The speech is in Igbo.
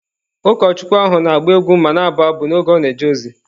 Ụkọchukwu ahụ na-agba egwu ma na-abụ abụ n’oge ọ na-eje ozi.